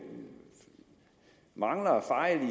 mangler